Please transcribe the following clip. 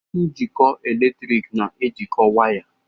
Njikọ eletrik na-ejikọ waya.